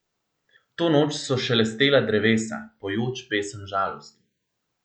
To noč so šelestela drevesa, pojoč pesem žalosti.